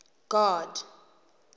god